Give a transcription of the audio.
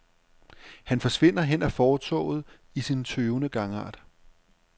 Han forsvinder hen ad fortovet i sin tøvende gangart.